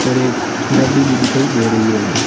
और एक गाडी भी दिखाई दे रही है।